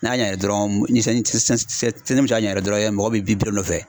N'a ɲɛna dɔrɔn, ni sanji mɔgɔ bɛ biri biri o nɔfɛ